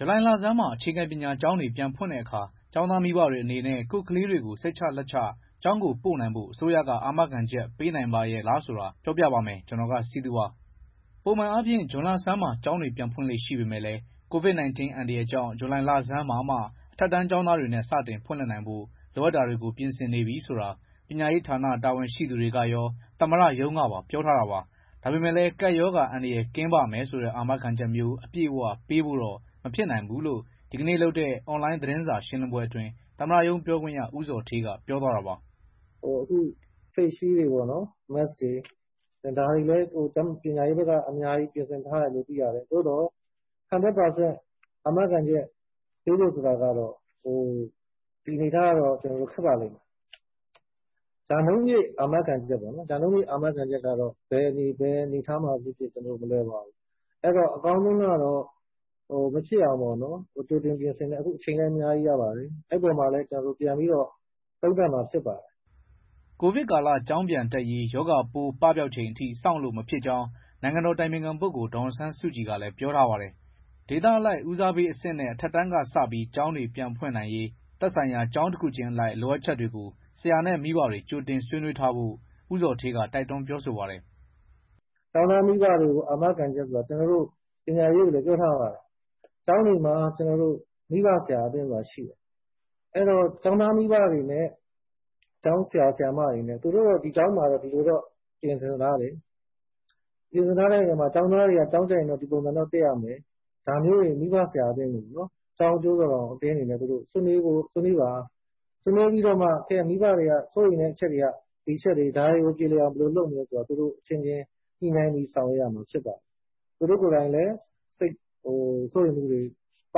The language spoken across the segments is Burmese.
ဇူလိုင်လဆန်းမှာ အခြေခံပညာကျောင်းတွေ ပြန်ဖွင့်တဲ့အခါ ကျောင်းသားမိဘတွေ အနေနဲ့ ကိုယ့်ကလေးတွေကို စိတ်ချလက်ချ ကျောင်းပို့နိုင်ဖို့ အစိုးရက အာမခံချက် ပေးနိုင်ပါရဲ့လားဆိုတာ ကိုစည်သူက စုစည်း တင်ပြထားပါတယ်။ ပုံမှန်အားဖြင့် ဇွန်လဆန်းမှာ ကျောင်းတွေပြန်ဖွင့်လေ့ ရှိပေမယ့်လည်း COVID-19 အန္တရာယ်ကြောင့် ဇူလိုင်လဆန်းမှာမှ အထက်တန်းကျောင်းသားတွေနဲ့ စတင်ဖွင့်လှစ်နိုင်ဖို့ လိုအပ်တာတွေကို ပြင်ဆင်နေပြီဆိုတာ ပညာရေးဌာန တာဝန်ရှိသူတွေကရော သမ္မတရုံးကပါ ပြောထားတာပါ။ ဒါပေမယ့်လည်း ကပ်ရောဂါအန္တရာယ် ကင်းပါ့မယ်ဆိုတဲ့ အာမခံချက်မျိုး အပြည့်အဝ ပေးဖို့တော့ မဖြစ်နိုင်ဘူးလို့ ဒီကနေ့လုပ်တဲ့ အွန်လိုင်း သတင်းစာရှင်းလင်းပွဲအတွင်း သမ္မတရုံးပြောခွင့်ရ ဦးဇော်ဌေးက ပြောသွားတာပါ။ “Faceshield တွေ Mask တွေပေးဖို့ ပညာရေးက ပြင်ဆင်ထားတယ်။ သို့သော် ၁၀၀ ရာခိုင်နှုန်း အာမခံချက်ပေးဖို့ ဆိုတာကတော့ ဒီအနေအထားက ခက်ပါလိမ့်မယ်။ ရာနှုန်းပြည့် အာမခံချက်ကတော့ ဘယ်အနေအထားမှာဖြစ်ဖြစ် မလွယ်ပါဘူး။ အကောင်းဆုံးကတော့ မဖြစ်အောင်ပေါ့နော် ကြိုတင်ပြင်ဆင်မယ်၊ အခု အချိန်လည်း အများကြီးရပါတယ်။ ဒီအပေါ်မှာလည်း ပြန်ပြီးတော့ သုံးသပ်မှာ ဖြစ်ပါတယ်။” ကိုဗစ်ကာလ ကျောင်းပြန်တက်ရေး ရောဂါပိုး ပပျောက်ချိန်ထိ စောင့်လို့မဖြစ်ကြောင်း နိုင်ငံတော်အတိုင်ပင်ခံပုဂ္ဂိုလ် ဒေါ်အောင်ဆန်းစုကြည်ကလည်း ပြောထားပါတယ်။ ဒေသအလိုက် ဦးစားပေးအဆင့်နဲ့ အထက်တန်းကစ ကျောင်းတွေပြန်ဖွင့်နိုင်ရေး သက်ဆိုင်ရာ ကျောင်းတခုချင်းအလိုက် လိုအပ်ချက်တွေကို ဆရာနဲ့ မိဘတွေ ကြိုတင်ဆွေးနွေးထားဖို့ ဦးဇော်ဌေးက တိုက်တွန်း ပြောဆိုပါတယ်။ “အာမခံချက်ဆိုတာ ကျနော်တို့က ပညာရေးကိုလည်း ပြောထားပါတယ်။ ကျောင်းတွေမှာ မိဘဆရာအသင်းဆိုတာ ရှိတယ်။ ကျောင်းသားမိဘတွေနဲ့ ကျောင်းဆရာ၊ ဆရာမတွေနဲ့ ဒီကျောင်းမှာတော့ ဒီလိုပြင်ဆင်ထားတယ်၊ ကျောင်းသားတွေက ကျောင်းတက်ရင် ဒီလိုတော့ တက်ရမယ်၊ ကျောင်းအကျိုးတော်ဆောင် အသင်းတွေ ဆွေးနွေးပါ၊ ပြီးမှ မိဘတွေက စိုးရိမ်တဲ့ အချက်တွေက ဒီအချက်တွေ၊ ဒါတွေကို ပြေလည်အောင် ဘယ်လိုလုပ်မလဲဆိုတာ သူတို့အချင်းချင်း ညှိနှိုင်းပြီး ဆောင်ရွက်ရပါမယ်။ သူတို့ကိုယ်တိုင်လည်း စိုးရိမ်မှုတွေ ပ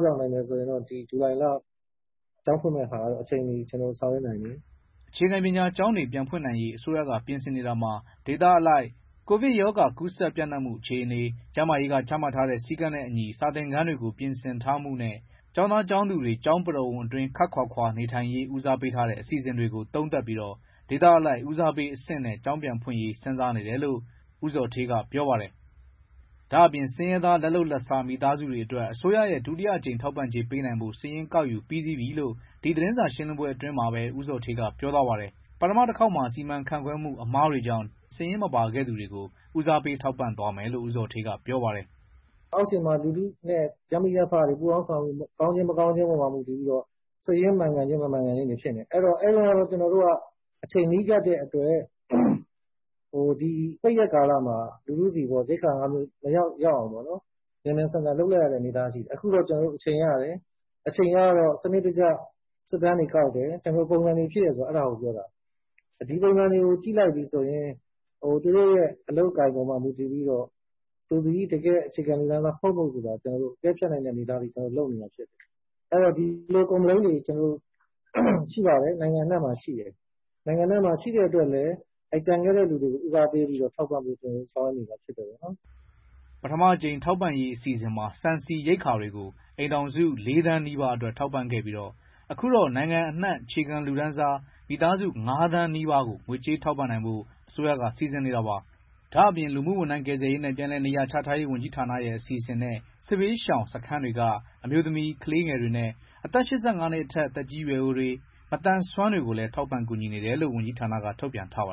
ပျောက်နိုင်မယ် ဆိုလို့ရှိရင် ဇူလိုင်လ ကျောင်းဖွင့်ဖို့ အချိန်မီ ဆောင်ရွက်နိုင်ပါမယ်။” အခြေခံပညာကျောင်းတွေ ပြန်ဖွင့်နိုင်ရေး အစိုးရက ပြင်ဆင်နေတာမှာ ဒေသအလိုက် ကိုဗစ်ရောဂါ ကူးစက်ပျံ့နှံ့မှု အခြေအနေ၊ ကျန်းမာရေးက ချမှတ်ထားတဲ့ စည်းကမ်းနဲ့အညီ စာသင်ခန်းတွေ ပြင်ဆင်ထားမှုနဲ့ ကျောင်းသား ကျောင်းသူတွေ ကျောင်းပရိဝုဏ်အတွင်း ခပ်ခွာခွာနေထိုင်ရေး ဦးစားပေးထားတဲ့ အစီအစဉ်တွေကို သုံးသပ်ပြီး ဒေသအလိုက် ဦးစားပေးအဆင့်နဲ့ ကျောင်းပြန်ဖွင့်ရေး စဉ်းစားနေတယ်လို့ ဦးဇော်ဌေးက ပြောပါတယ်။ ဒါ့အပြင် ဆင်းရဲသား လက်လုပ်လက်စား မိသားစုတွေအတွက် အစိုးရရဲ့ ဒုတိယအကြိမ် ထောက်ပံ့ကြေး ပေးနိုင်ဖို့ စာရင်းကောက်ယူပြီးစီးပြီလို့ ဒီသတင်းစာရှင်းလင်းပွဲ အတွင်းမှာပဲ ဦးဇော်ဌေးက ပြောသွားပါတယ်။ ပထမတခေါက်မှာ စီမံခန့်ခွဲမှု အမှားတွေကြောင့် စာရင်းမပါခဲ့သူတွေကို ဦးစားပေး ထောက်ပံ့သွားမယ်လို့ ဦးဇော်ဌေးက ပြောပါတယ်။ “အောက်ခြေမှာ လူထုနဲ့ ရပ်မိရပ်ဖတွေ ပူးပေါင်းဆောင်ရွက်မှု ကောင်းခြင်း မကောင်းခြင်းပေါ်မှာ မူတည်ပြီးတော့ စိတ်ရင်းမှန်ကန်ခြင်း မမှန်ကန်ခြင်းတွေ ဖြစ်နေတယ်။ အဲဒီတုန်းကတော့ အချိန်နီးကပ်တဲ့အတွက် ပိတ်ရက်ကာလမှာ လူထုဆီ ရိက္ခာငါးမျိုး မရောက်ရောက်အောင်ပေါ့နော်၊ မြန်မြန်ဆန်ဆန် လုပ်လိုက်ရတဲ့ အနေအထားရှိတယ်။ အခုတော့ ကျနော်တို့ အချိန်ရတယ်။ အချိန်ရတော့ စနစ်တကျ စစ်တမ်းတွေကောက်တယ်၊ ပုံစံတွေဖြည့်တယ်၊ ဒီပုံစံတွေအပေါ်မှာ မူတည်ပြီးတော့ သူသည် အခြေခံလူတန်းစား ဟုတ်မဟုတ် ဆိုတာ အကဲဖြတ်နိုင်တယ်။ Complain တွေ နိုင်ငံအနှံ့မှာ ရှိပါတယ်။ ရှိလို့လည်း ကျန်ခဲ့တဲ့သူတွေကို ဦးစားပေးထောက်ပံ့ဖို့ ကျနော်တို့ ဆောင်ရွက်နေပါတယ်။” ပထမအကြိမ် ထောက်ပံ့ရေး အစီအစဉ်မှာ ဆန် ဆီ ရိက္ခာတွေကို အိမ်ထောင်စု ၄ သန်းနီးပါးအတွက် ထောက်ပံ့ခဲ့ပြီး အခုတော့ နိုင်ငံအနှံ့ အခြေခံလူတန်းစား မိသားစု ၅ သန်းနီးပါးကို ငွေကြေးထောက်ပံ့နိုင်ဖို့ အစိုးရက စီစဉ်နေတာပါ။ ဒါ့အပြင် လူမှုဝန်ထမ်း ကယ်ဆယ်ရေးနဲ့ ပြန်လည်နေရာချထားရေး ဝန်ကြီးဌာနရဲ့ အစီအစဉ်နဲ့ စစ်ဘေးရှောင်စခန်းတွေက အမျိုးသမီး၊ ကလေးငယ်တွေနဲ့ အသက် ၈၅ နှစ်အထက် သက်ကြီးရွယ်အိုတွေနဲ့ မသန်စွမ်းတွေကိုလည်း ထောက်ပံ့ကူညီနေတယ်လို့ ဝန်ကြီးဌာနက ထုတ်ပြန်ထားပါ